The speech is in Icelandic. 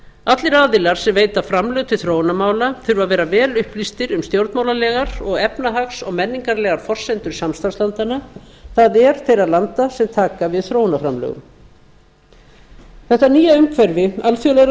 allir aðilar sem veita framlög til þróunarmála þurfa að vera vel upplýstir um stjórnmálalegar og efnahags og menningarlegar forsendur samstarfslandanna það er þeirra landa sem taka við þróunarframlögum þetta nýja umhverfi alþjóðlegrar